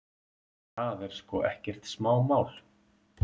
Það er sko ekkert smámál.